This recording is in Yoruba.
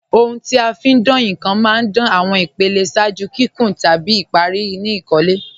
Ọ̀huń ti a fi ń dáǹ nkan má ń dáǹ awọn ìpèlẹ̀ ṣáàjú kíkún tabi ìparí ni ìkólẹ̀.